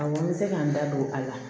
Awɔ n bɛ se ka n da don a la